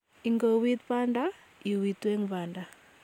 Ingouiit banda, iuiitu eng' banda.